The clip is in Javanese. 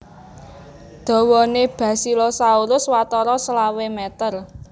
Dawané Basilosaurus watara selawe meter